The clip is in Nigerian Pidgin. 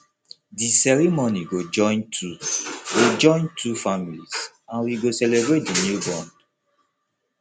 di ceremony go join two go join two families and we go celebrate the new bond